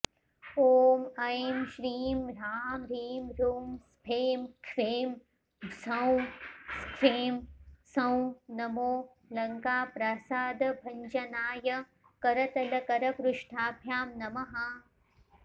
ॐ ऐं श्रीं ह्रांह्रींह्रूं स्फें ख्फें ह्सौं ह्स्ख्फ्रें ह्सौं नमो लङ्काप्रासादभञ्जनाय करतलकरपृष्ठाभ्यां नमः